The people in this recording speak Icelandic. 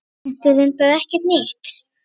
Þetta er reyndar ekkert nýtt.